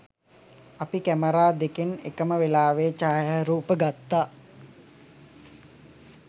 අපි කැමරා දෙකෙන් එකම වෙලාවේ ඡායරූප ගත්තා.